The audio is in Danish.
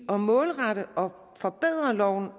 at målrette og forbedre loven